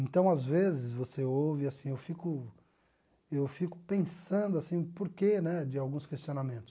Então, às vezes, você ouve, assim, eu fico eu fico pensando assim o porquê né de alguns questionamentos.